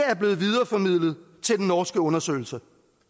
er blevet videreformidlet til den norske undersøgelse